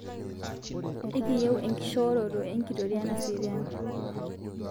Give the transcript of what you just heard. Ekiiyieu enkishooroto enkitoria naserian